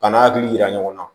Ka n'a hakili yira ɲɔgɔn na